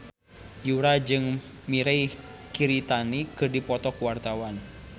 Yura jeung Mirei Kiritani keur dipoto ku wartawan